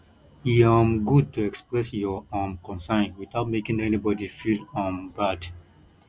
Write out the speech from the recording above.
e um good to express your um concern without making anybody feel um bad